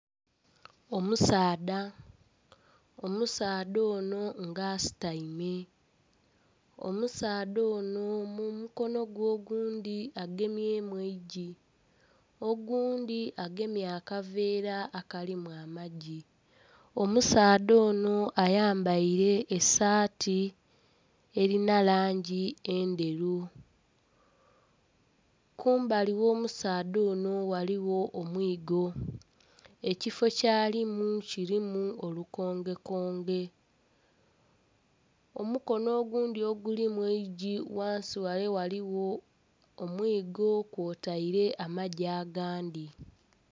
Omusaadha, omusaadha ono nga asutaime omusaadha ono mu mukono gwe ogundhi agemyemu eigi, ogundhi agemye akaveera akalimu amagi. Omusaadha ono ayambaire esaati erina langi endheru, kumbali gh'omusaadha ono ghaligho omwigo, ekifo kyalimu kirimu olukongekonge; omukono ogundhi ogulimu eigi ghansi ghale ghaligho omwigo kwotaire amagi agandhi.